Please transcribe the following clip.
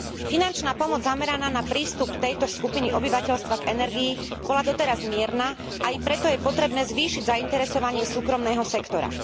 Finančná pomoc zameraná na prístup tejto skupiny obyvateľstva k energii bola doteraz mierna, a i preto je potrebné zvýšiť zainteresovanie súkromného sektora.